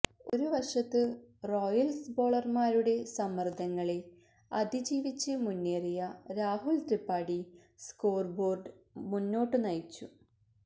ഒരുവശത്ത് റോയൽസ് ബൌളർമാരുടെ സമ്മർദ്ദങ്ങളെ അതിജീവിച്ച് മുന്നേറിയ രാഹുൽ ത്രിപാഡി സ്കോർ ബോർഡ് മുന്നോട്ടുനയിച്ചു